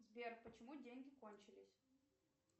сбер почему деньги кончились